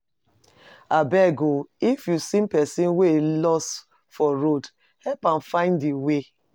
Abeg o, if you see pesin wey loss for road, help am find im way.